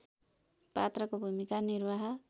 पात्रको भूमिका निर्वाह